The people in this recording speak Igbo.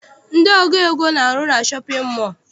Ndị ọgụ ego na-arụ na shọpịn mọọ.